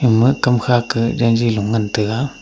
aga kamkha ka renji lo ngan tega.